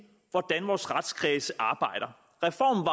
hvordan vores retskredse arbejder reformen